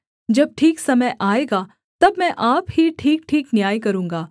जब ठीक समय आएगा तब मैं आप ही ठीकठीक न्याय करूँगा